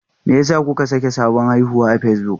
Me yasa kuka saka sabon haihuwa akan Facebook?